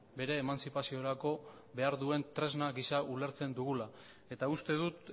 bere emantzipaziorako behar duen tresna gisa ulertzen dugula eta uste dut